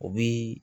O bi